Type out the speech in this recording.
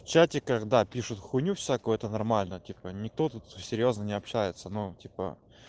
чатиках да пишут хуйню всякую это нормально типа никто тут серьёзно не общается ну типа